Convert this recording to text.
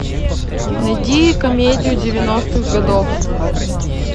найди комедию девяностых годов